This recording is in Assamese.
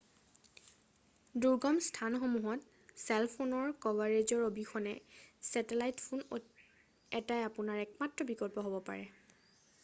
দূৰ্গম স্থানসমূহত চেল ফোনৰ কভাৰেজৰ অবিহনে ছেটেলাইত ফোন এটাই আপোনাৰ একমাত্ৰ বিকল্প হ'ব পাৰে